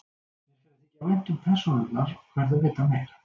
Mér fer að þykja vænt um persónurnar og verð að vita meira.